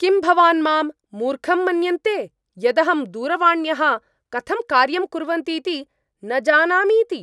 किं भवान् माम् मूर्खं मन्यन्ते यदहं दूरवाण्यः कथं कार्यं कुर्वन्तीति न जानामीति?